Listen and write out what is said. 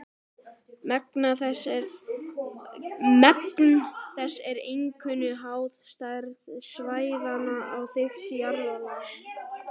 Magn þess er einkum háð stærð svæðanna og þykkt jarðlaga.